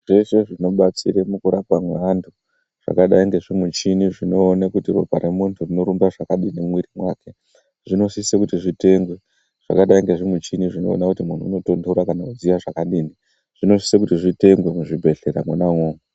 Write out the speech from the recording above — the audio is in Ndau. Michini dzese dzinobatsira mukurapa mweantu zvakadai ngezvimuchini zvinone kuti ropa reantu rinorumba zvakadini mumwiri mwake. Zvinosise kuti zvitengewe zvakadai nezvimichini zvinoona kuti muntu unotonhora kana kudziya zvakadini. Zvinosise kuti zvitengwe muzvibhedhlera mwona imwomwo.